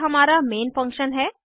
यह हमारा main function है